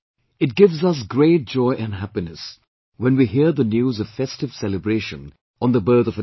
It gives us great joy and happiness when we hear the news of festive celebration on the birth of a daughter